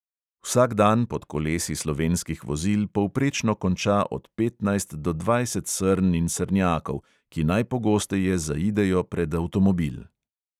Vsak dan pod kolesi slovenskih vozil povprečno konča od petnajst do dvajset srn in srnjakov, ki najpogosteje zaidejo pred avtomobil.